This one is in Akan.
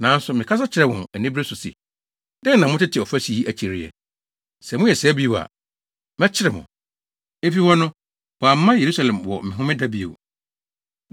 Nanso mekasa kyerɛɛ wɔn anibere so se, “Dɛn na motete ɔfasu yi akyi reyɛ? Sɛ moyɛ saa bio a, mɛkyere mo!” Efi hɔ no, wɔamma Yerusalem wɔ Homeda bio.